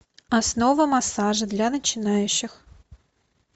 основы массажа для начинающих